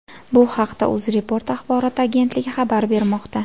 Bu haqda UzReport axborot agentligi xabar bermoqda .